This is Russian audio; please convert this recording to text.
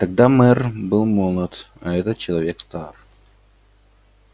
тогда мэр был молод а этот человек стар